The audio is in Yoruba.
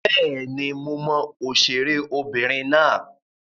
Bẹ́ẹ̀ni, mo mọ òṣèré obìnrin náà